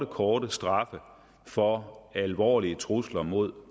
korte straffe for alvorlige trusler mod